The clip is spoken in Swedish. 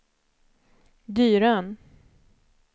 Dyrön